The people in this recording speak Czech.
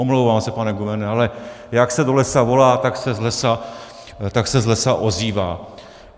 Omlouvám se, pane guvernére, ale jak se do lesa volá, tak se z lesa ozývá.